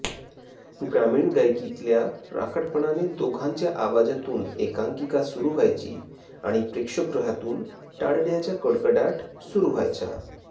ग्रामीण गायकीतल्या राकटपणाने दोघांच्या आवाजातून एकांकिका सुरू व्हायची आणि प्रेक्षकगृहातून टाळडयाचा कडकडाट सुरू व्हायचा